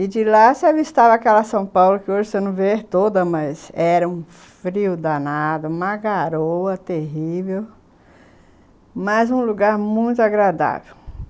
E de lá você avistava aquela São Paulo que hoje você não vê toda, mas era um frio danado, uma garoa terrível, mas um lugar muito agradável.